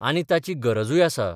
आनी ताची गरजूय आसा.